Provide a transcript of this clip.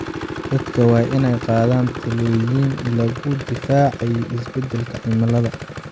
Dadka waa in ay qaadaan tallaabooyin lagu difaacayo isbedelka cimilada.